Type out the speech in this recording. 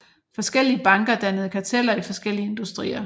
Forskellige banker dannede karteller i forskellige industrier